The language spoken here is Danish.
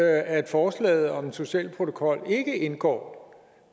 at forslaget om en social protokol indgår